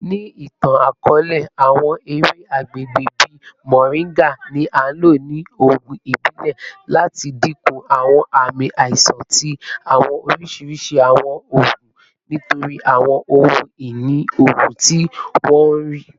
Ni itan-akọọlẹ, awọn ewe agbegbe bii moringa ni a lo ni oogun ibile lati dinku awọn aami aisan ti awọn oriṣiriṣi awọn oogun nitori awọn ohun-ini oogun ti wọn rii.